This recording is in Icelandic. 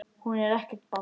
Hún er ekkert barn.